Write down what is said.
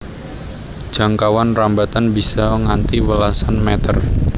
Jangkauan rambatan bisa nganti welasan meter